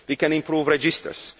we can improve registers